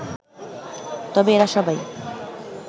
তবে এরা সবাই